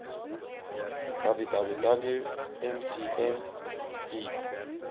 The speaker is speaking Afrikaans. www mcm deat